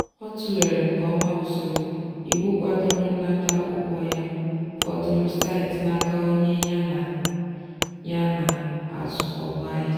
ọ tụlere nke ọma usoro iwu kwadoro nnata ụgwọ ya fọdụrụ site n'aka onye ya na ya na-azụkọbu ahịa.